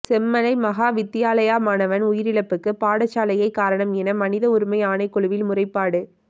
செம்மலை மகாவித்தியாலய மாணவன் உயிரிழப்புக்கு பாடசாலையே காரணம் என மனித உரிமை ஆணைக்குழுவில் முறைப்பாடு